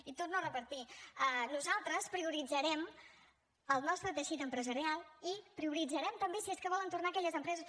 i ho torno a repetir nosaltres prioritzarem el nostre teixit empresarial i prioritzarem també si és que volen tornar aquelles empreses